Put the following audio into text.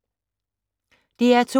DR2